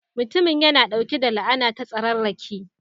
Mutumin yana ɗauke da la'ana ta tsararraki.